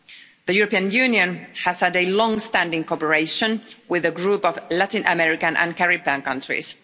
The European Union has had longstanding cooperation with a group of Latin-American and Caribbean countries.